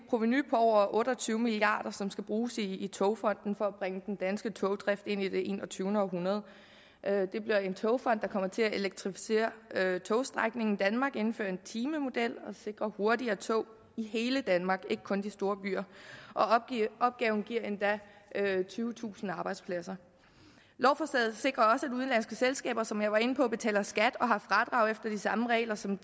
provenu på over otte og tyve milliard som skal bruges i togfonden dk for at bringe den danske togdrift ind i det enogtyvende århundrede det bliver en togfond der kommer til at elektrificere togstrækningen i danmark indføre en timemodel og sikre hurtigere tog i hele danmark ikke kun de store byer og opgaven giver endda tyvetusind arbejdspladser lovforslaget sikrer også at udenlandske selskaber som jeg var inde på betaler skat og har fradrag efter de samme regler som